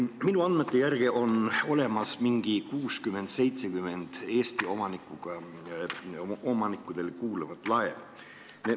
Minu andmete järgi on olemas 60–70 Eesti omanikkudele kuuluvat laeva.